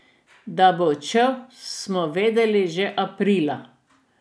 Da bo odšel, smo vedele že aprila.